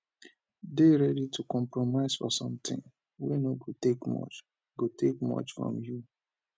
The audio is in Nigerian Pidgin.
de ready to compromise for something wey no go take much go take much from you